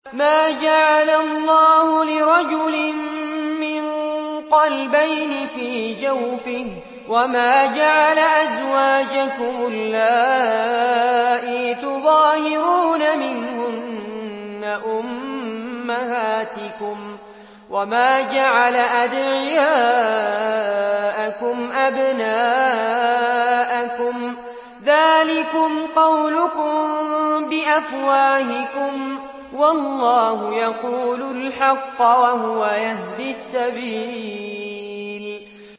مَّا جَعَلَ اللَّهُ لِرَجُلٍ مِّن قَلْبَيْنِ فِي جَوْفِهِ ۚ وَمَا جَعَلَ أَزْوَاجَكُمُ اللَّائِي تُظَاهِرُونَ مِنْهُنَّ أُمَّهَاتِكُمْ ۚ وَمَا جَعَلَ أَدْعِيَاءَكُمْ أَبْنَاءَكُمْ ۚ ذَٰلِكُمْ قَوْلُكُم بِأَفْوَاهِكُمْ ۖ وَاللَّهُ يَقُولُ الْحَقَّ وَهُوَ يَهْدِي السَّبِيلَ